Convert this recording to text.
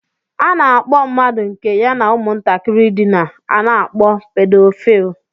A na-akpọ mmadụ nke ya na ụmụntakịrị dina, a na-akpọ Pedophile